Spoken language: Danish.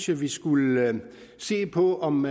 vi skulle se på om